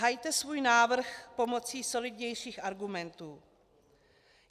Hajte svůj návrh pomocí solidnějších argumentů.